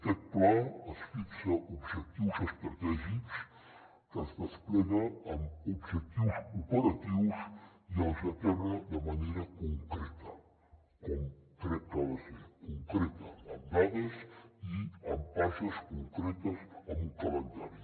aquest pla es fixa objectius estratègics que es despleguen amb objectius operatius i els aterra de manera concreta com crec que ha de ser concreta amb dades i amb passes concretes amb un calendari